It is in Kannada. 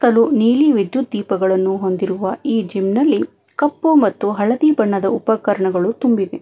ನೀಲಿ ವಿದ್ಯುತ್ ದೀಪಗಳನ್ನು ಹೊಂದಿರುವ ಈ ಜಿಮ್ ನಲ್ಲಿ ಕಪ್ಪು ಮತ್ತು ಹಳದಿ ಬಣ್ಣದ ಉಪಕರಣಗಳು ತುಂಬಿವೆ.